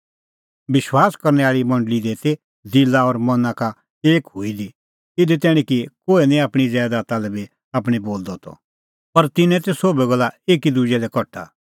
विश्वास करनै आल़ी मंडल़ी ती दिला और मना का एक हुई दी इधी तैणीं कि कोहै निं आपणीं ज़ैदाता लै बी आपणीं बोलदअ त पर तिन्नें ती सोभै गल्ला एकी दुजै लै कठा